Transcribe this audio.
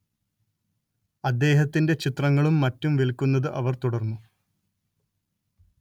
അദ്ദേഹത്തിന്റെ ചിത്രങ്ങളും മറ്റും വിൽക്കുന്നത് അവർ തുടർന്നു